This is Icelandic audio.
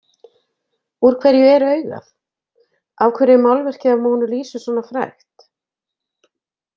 Úr hverju er augað? Af hverju er málverkið af Mónu Lísu svona frægt?